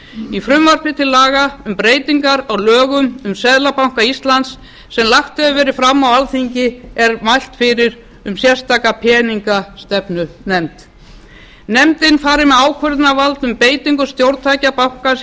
í frumvarpi til laga um breytingar á lögum um seðlabanka íslands sem lagt hefur verið fram á alþingi er mælt fyrir um sérstaka peningastefnunefnd nefndin fari með ákvörðunarvald um beitingu stjórntækja bankans